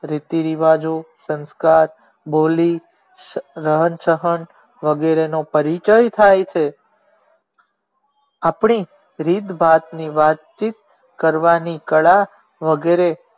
રીતિ રિવાજો સંસ્કાર બોલી રહન ચહન વેગેરે નો પરિચય થાઈ છે આપણે રીત ભાત ની વાત ચિત કરવાની કળા વગેરે